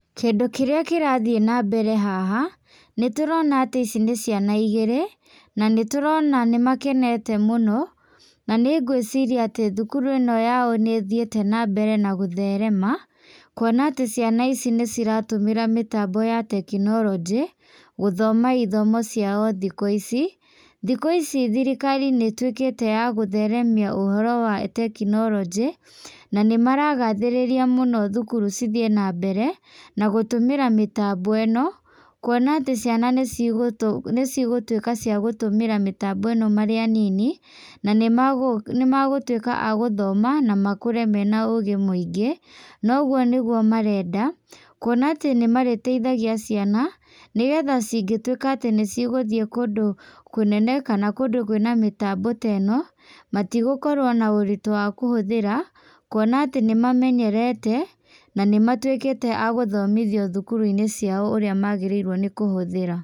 Kĩndũ kĩrĩa kĩrathiĩ na mbere haha, nĩ tũrona atĩ ici nĩ ciana igĩrĩ, na nĩ tũrona nĩ makenete mũno. Na nĩ ngwĩciria atĩ thukuru ĩno yao nĩ ĩthiĩte na mbere na gũtherema kuona atĩ ciana ici nĩ ciratũmĩra mĩtambo ya tekinoronjĩ gũthoma ithomo ciao thikũ ici. Thikũ ici thirikari nĩ ĩtuĩkĩte ya gũtheremia ũhoro wa tekinoronjĩ, na nĩ maragathĩrĩria mũno thukuru cithiĩ na mbere na gũtũmĩra mĩtambo ĩno, kuona atĩ ciana nĩ cigũtuĩka ciagũtũmĩra mĩtambo ĩno marĩ anini na nĩ magũtuĩka a gũthoma na makũre mena ũgĩ mũingĩ. Na ũguo nĩguo marenda. Kuona atĩ nĩ marĩteithagia ciana nĩgetha cingĩtuĩka atĩ nĩ cigũthiĩ kũndũ kũnene kana kũndũ kwĩna mĩtambo ta ĩno, matigũkorwo na ũritũ wa kũhũthĩra kuona atĩ nĩ mamenyerete, na nĩ matuĩkĩte a gũthomithio thukuru-inĩ ciao ũrĩa magĩrĩirwo nĩ kũhũthĩra.